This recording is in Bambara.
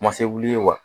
Ma se wuli wa